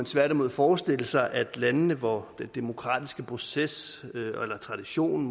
tværtimod forestille sig at lande hvor den demokratiske proces eller tradition